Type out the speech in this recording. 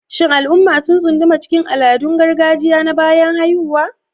Shin al'umma sun tsunduma cikin al'adun gargajiya na bayan haihuwa?